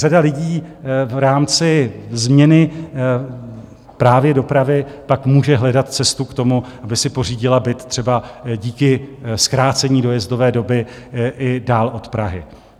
Řada lidí v rámci změny právě dopravy pak může hledat cestu k tomu, aby si pořídila byt třeba díky zkrácení dojezdové doby i dál od Prahy.